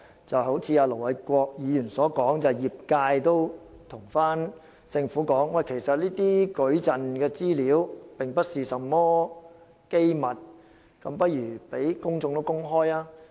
正如盧偉國議員所說，業界已向政府反映矩陣的資料其實並非機密，不如向公眾公開。